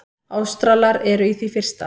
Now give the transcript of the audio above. Ástralar eru í því fyrsta.